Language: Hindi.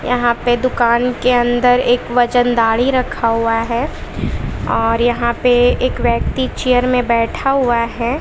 यहां पे दुकान के अंदर एक वजनदारी रखा हुआ है और यहां पे एक व्यक्ति चेयर में बैठा हुआ हैं।